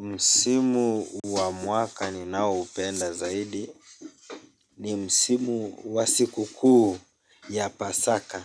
Msimu wa mwaka ninaoupenda zaidi ni msimu wa siku kuu ya Pasaka